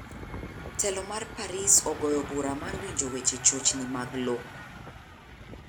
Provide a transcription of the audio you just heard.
Telo mar paris ogoyo bura mar winjo weche chochni mag lo.